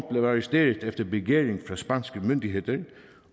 arresteret efter begæring fra spanske myndigheder